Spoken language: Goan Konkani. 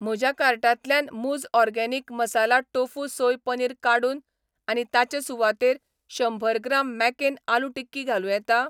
म्हज्या कार्टांतल्यान मूझ organic masala tofu soy paneer काडून आनी ताचे सुवातेर शंंबर ग्राम मॅकेन आलू टिक्की घालूं येता?